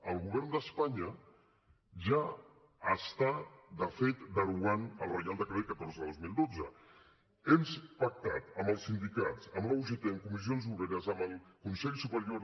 el govern d’espanya ja està de fet derogant el reial decret catorze dos mil dotze hem pactat amb els sindicats amb la ugt amb comissions obreres amb el consell superior